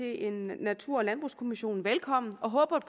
en natur og landbrugskommission velkommen og håber